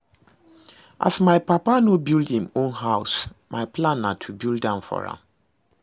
As my papa no build im own house, my plan na to build am for am